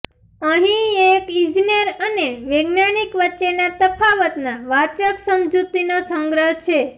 અહીં એક ઈજનેર અને વૈજ્ઞાનિક વચ્ચેના તફાવતના વાચક સમજૂતીનો સંગ્રહ છે